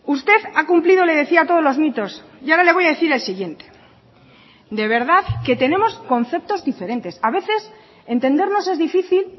usted ha cumplido le decía todos los mitos y ahora le voy a decir el siguiente de verdad que tenemos conceptos diferentes a veces entendernos es difícil